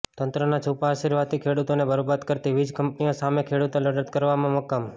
તંત્રના છુપા આશીર્વાદથી ખેડૂતોને બરબાદ કરતી વીજ કંપનીઓ સામે ખેડૂતો લડત કરવા મક્કમ